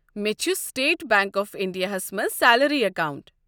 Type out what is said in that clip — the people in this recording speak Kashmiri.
مےٚ چھُ سٹیٹ بنٛک آف انٛڈیا ہس منٛز سیلری اکاونٛٹ۔